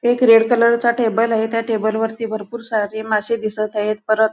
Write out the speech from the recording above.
एक red colour चा table आहे टेबल वरती भरपूर सारे मासे दिसत आहेत परत --